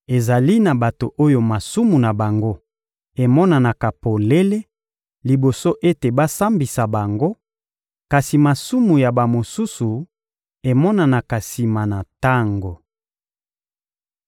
Ezali na bato oyo masumu na bango emonanaka polele liboso ete basambisa bango, kasi masumu ya bamosusu emonanaka sima na tango.